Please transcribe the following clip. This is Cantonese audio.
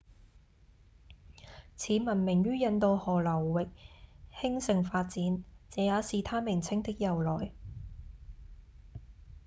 此文明於印度河流域興盛發展這也是它名稱的由來